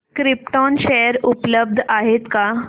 krypton share उपलब्ध आहेत का